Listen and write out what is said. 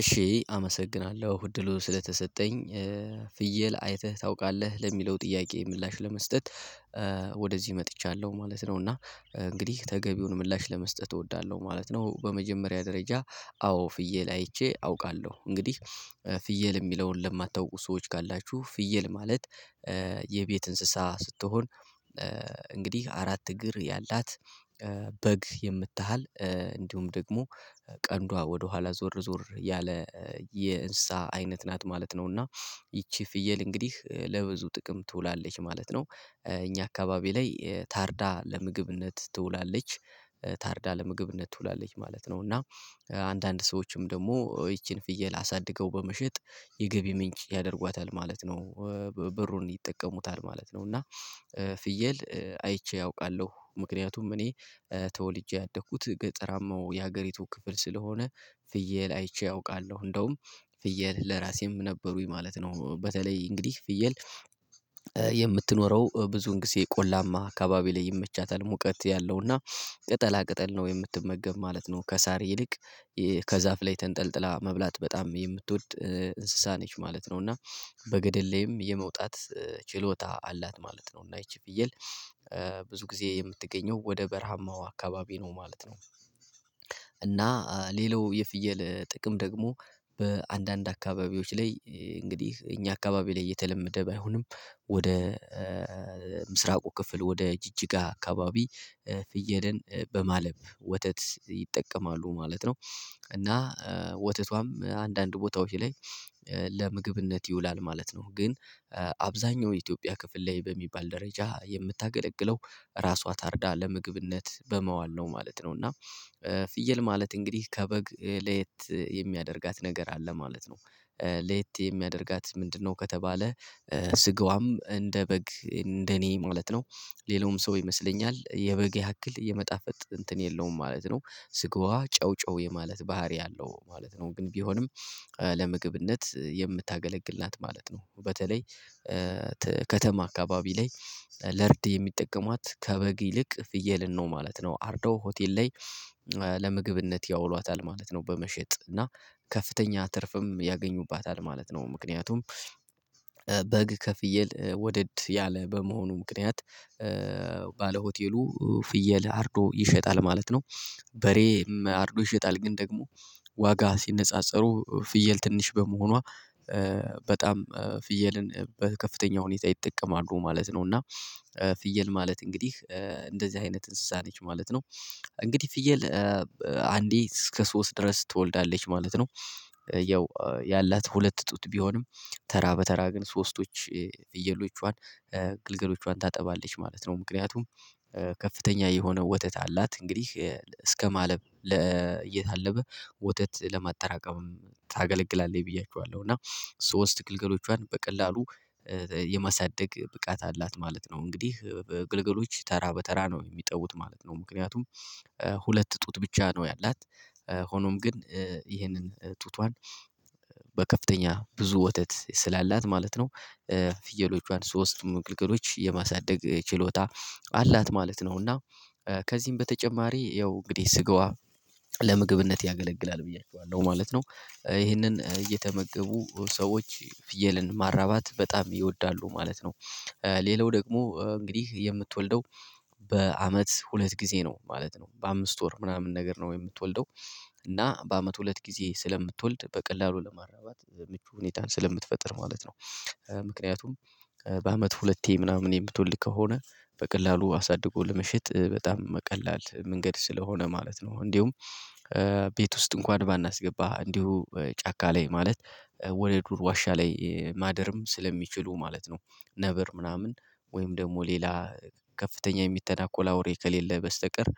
እሺ አመሰግናለሁ እድሉ ስለተሰጠኝ ፍየል አይተህ ታውቃለህ ለሚለው ጥያቄ ምላሽ ለመስጠት ወደዚህ መጥቻለሁ ማለት ነው። እና እንግዲህ ተገቢውን ምላሽ ለመስጠት እወዳለሁ ማለት ነው። በመጀመሪያ ደረጃ አዎ ፍየል አይቼ አውቃለሁ። እንግዲህ ፍየል የሚለውን ለማታውቁ ሰዎች ካላችሁ ፍየል ማለት የቤት እንስሳ ስትሆን። እንግዲህ አራት እግር ያላት በግ የምተሃል እንዲሁም ደግሞ ቀንዷ ወደኋላ ዞር ዞር ያለ የእንስሳ አይነት ናት ማለት ነው። እና ይቺ ፍየል እንግዲህ ለብዙ ጥቅም ትውላለች ማለት ነው። እኛ አካባቢ ላይ ታርዳ ለምግብነት ትውላለች ታርዳ ለምግብ ነው ትውላለች ማለት ነው። እና አንዳንድ ሰዎችም ደግሞ ይቺን ፍየል አሳድገው በመሸጥ የገቢ ምንጭ ያደርጓታል ማለት ነው። ብሩን ይጠቀሙታል ማለት ነው። እና ፍየል አይቼ አውቃለሁ ምክንያቱም እኔ ተወልጄ ያደኩት ገጠራማው የሀገሪቱ ክፍል ስለሆነ። ፍየል አይቼ አውቃለሁ እንደውም ፍየል ለራሴም ነበሩኝ ማለት ነው። በተለይ እንግዲህ ፍየል የምትኖረው ብዙን ጊዜ ቆላማ አካባቢ ላይ ይመቻታል ሙቀት ያለው እና። ቅጠላ ቅጠል ነው የምትመገብ ማለት ነው። ከሳር ይልቅ ከዛፍ ላይ ተንጠልጥላ መብላት በጣም የምትወድ እንስሳ ነች ማለት ነው። እና በገደል ላይም የመውጣት ችሎታ አላት ማለት ነው። እና እቺ ፍየል ብዙ ጊዜ የምትገኘው ወደ በረሃማው አካባቢ ነው ማለት ነው። እና ሌላው የፍየል ጥቅም ደግሞ በአንዳንድ አካባቢዎች ላይ እንግዲህ እኛ አካባቢ ላይ የተለመደ ባይሆንም። ወደ ምስራቁ ክፍል ወደ ጅጅጋ አካባቢ ፍየልን በማለብ ወተት ይጠቀማሉ ማለት ነው። እና ወተቷም አንዳንድ ቦታዎች ላይ ለምግብነት ይውላል ማለት ነው። ግን አብዛኛው የኢትዮጵያ ክፍል ላይ በሚባል ደረጃ የምታገለግለው ራሷ ታርዳ ለምግብነት በመዋል ነው ማለት ነው። እና ፍየል ማለት እንግዲህ ከበግ ለየት የሚያደርጋት ነገር አለ ማለት ነው። ለየት የሚያደርጋት ምንድነው ከተባለ? ስጋዋም እንደ በግ እንደ እኔ ማለት ነው ሌላውም ሰው ይመስለኛል የበግ ያክል የመጣፈጥ እንትን የለውም ማለት ነው። ስጋዋ ጨው ጨው የማለት ባህሪ አለው ማለት ነው። ግን ቢሆንም ለምግብነት የምታገለግላት ማለት ነው። በተለይ ከተማ አካባቢ ላይ ለርድ የሚጠቀሟት ከበግ ይልቅ ፍየልን ነው ማለት ነው። አርዶ ሆቴል ላይ ለምግብነት ያውሏታል ማለት ነው። በመሸጥ እና ከፍተኛ ትርፍም ያገኙባታል ማለት ነው። ምክንያቱም በግ ከፍየል ወደድ ያለ በመሆኑ ምክንያት ባለ ሆቴሉ ፍየል አርዶ ይሸጣል ማለት ነው። በሬም አርዶ ይሸጣል ግን ደግሞ ዋጋ ሲነጻጸሩ ፍየል ትንሽ በመሆኗ በጣም ፍየልን በከፍተኛ ሁኔታ ይጠቀማሉ ማለት ነው። እና ፍየል ማለት እንግዲህ እንደዚህ አይነት እንስሳ ነች ማለት ነው። እንግዲህ ፍየል አንዴ እስከ ሶስት ድረስ ትወልዳለች ማለት ነው። ያው ያላት ሁለት ጡት ቢሆንም ተራ በተራ ግን ሶስቶች ፍየሎቿን ግልገሎቿን ታጠባለች ማለት ነው። ምክንያቱም ከፍተኛ የሆነ ወተት አላት እንግዲህ እስከማለብ እየታለበ ወተት ለማጠራቀምም ታገለግላለች። ብያችኋለሁ እና ግልገሎቿን በቀላሉ የማሳደግ ብቃት አላት ማለት ነው። እንግዲህ በግልገሎች ተራ በተራ ነው የሚጠውት ማለት ነው። ምክንያቱም ሁለት ጡት ብቻ ነው ያላት ሆኖም ግን ይሄንን ጡቷን በከፍተኛ ብዙ ወተት ስላላት ማለት ነው። ፍየሎቿን ሶስቱም ግልገሎች የማሳደግ ችሎታ አላት ማለት ነውና። ከዚህም በተጨማሪ ያው እንግዲህ ስጋዋ ለምግብነት ያገለግላል ብያችኋለሁ ማለት ነው። ይሄንን እየተመገቡ ሰዎች ፍየልን ማራባት በጣም ይወዳሉ ማለት ነው። ሌላው ደግሞ እንግዲህ የምትወልደው በአመት ሁለት ጊዜ ነው ማለት ነው። በአምስት ወር ምናምን ነገር ነው የምትወልደው እና በአመት ሁለት ጊዜ ስለምትወልድ በቀላሉ ለማራባት ምቹ ሁኔታን ስለምትፈጥር ማለት ነው። ምክንያቱም በአመት ሁለቴ ምናምን የምትወልድ ከሆነ በቀላሉ አሳድጎ ለመሸጥ በጣም ቀላል መንገድ ስለሆነ ማለት ነው። እንዲሁም ቤት ውስጥ እንኳን ባናስገባ እንዲሁ ጫካ ላይ ማለት ወደ ዱር ዋሻ ላይ ማደርም ስለሚችሉ ማለት ነው። ነበር ምናምን ወይም ደግሞ ሌላ ከፍተኛ የሚተናኮላ ወሬ ከሌለ በስተቀር